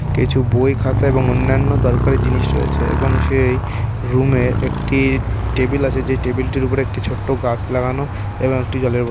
কিছু বই খাতা এবং অন্যান্য দরকারি জিনিস রয়েছে এবং সেই রুম এ একটি টেবিল আছে যে টেবিল টির উপর একটি ছোট্ট গাছ লাগানো এবং একটি জলের বোতল।